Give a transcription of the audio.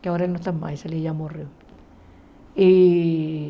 que agora não está mais, ela já morreu. E